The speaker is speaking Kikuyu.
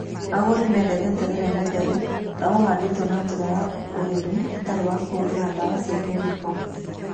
Agũri mendete terere mũtheru na ũhandĩtwo na njĩra ya ũrĩmi ũtarĩ wa kũhũthĩra ndawa cia kemiko.